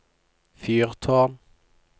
fyrtårn